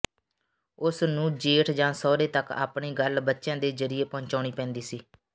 ਉਸ ਨੂੰ ਜੇਠ ਜਾਂ ਸਹੁਰੇ ਤਕ ਆਪਣੀ ਗੱਲ ਬੱਚਿਆਂ ਦੇ ਜ਼ਰੀਏ ਪਹੁੰਚਾਉਣੀ ਪੈਂਦੀ ਸੀ